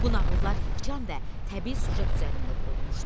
Bu nağıllar yığcam və təbii süjet üzərində qurulmuşdu.